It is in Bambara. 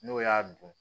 N'o y'a dun